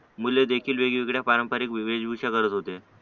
मुले देखील वेगवेगळ्या पारंपारिक वेशभूषा करत होते